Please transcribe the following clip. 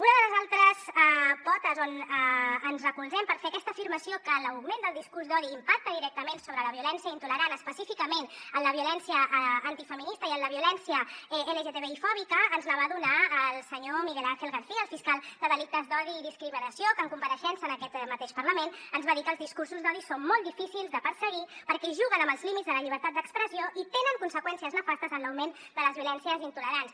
una de les altres potes on ens recolzem per fer aquesta afirmació que l’augment del discurs d’odi impacta directament sobre la violència intolerant específicament en la violència antifeminista i en la violència lgtbi fòbica ens la va donar el senyor miguel ángel aguilar garcía el fiscal de delictes d’odi i discriminació que en compareixença en aquest mateix parlament ens va dir que els discursos d’odi són molt difícils de perseguir perquè juguen amb els límits de la llibertat d’expressió i tenen conseqüències nefastes en l’augment de les violències intolerants